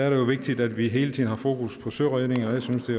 jo vigtigt at vi hele tiden har fokus på søredning jeg synes det